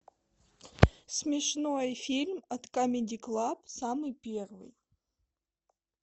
смешной фильм от камеди клаб самый первый